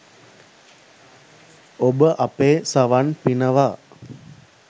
ඔබ අපේ සවන් පිනවා